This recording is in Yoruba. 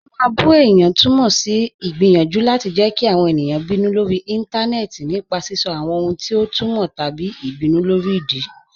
Ká má bù è̩yàn tùmọ sí igbiyanjú láti jẹ́ kí àwọn è̩niyàn bínú lórí ìntanẹẹ̀tì nípa sisọ̀ àwọn ohun ti ọ tùmọ́ tabí ìbínú lórí ìdí.